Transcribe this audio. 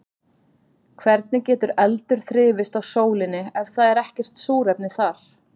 Hvernig getur eldur þrifist á sólinni ef það er ekkert súrefni þar?